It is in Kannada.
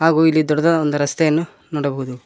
ಹಾಗು ಇಲ್ಲಿ ದೊಡ್ಡದ ಒಂದ ರಸ್ತೆಯನ್ನು ನೋಡಬಹುದು.